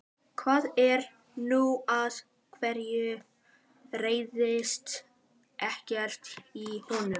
Hvað er nú, af hverju heyrist ekkert í honum?